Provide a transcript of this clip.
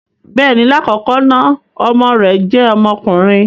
Bẹẹni, lakọkọ na ọmọ rẹ jẹ ọmọkunrin.